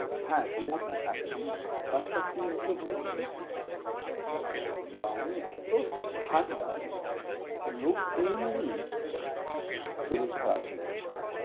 হ্যাঁ, গো actually ব্যাপার টা কি আছে বলুন তো গ্রামে এত ঠান্ডা লোক এমনিই শরীর খারাপ হয়ে যাচ্ছে।